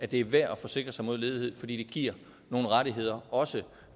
det er værd at forsikre sig mod ledighed fordi det giver nogle rettigheder også